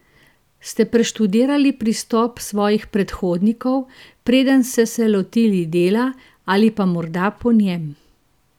Ste preštudirali pristop svojih predhodnikov, preden se se lotili dela, ali pa morda po njem?